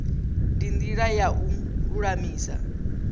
ndi ndila ya u lulamisa